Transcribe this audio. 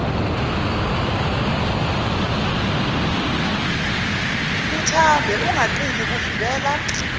uthambe ungaqini kuvimbela